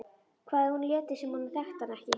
Hvað ef hún léti sem hún þekkti hann ekki?